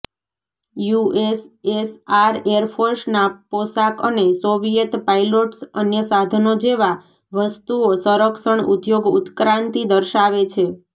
USSR એરફોર્સના પોશાક અને સોવિયેત પાઇલોટ્સ અન્ય સાધનો જેવા વસ્તુઓ સંરક્ષણ ઉદ્યોગ ઉત્ક્રાંતિ દર્શાવે છે